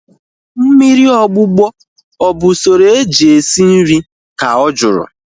Mmiri ogbugbọ ọ bụ usoro eji esi nri? Ka ọ jụrụ